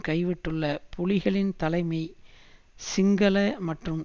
கைவிட்டுள்ள புலிகளின் தலைமை சிங்கள மற்றும்